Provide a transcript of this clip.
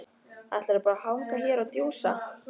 Ætlarðu bara að hanga hér og djúsa?